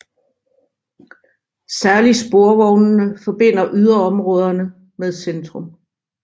Særlig sporvognene forbinder yderområderne med centrum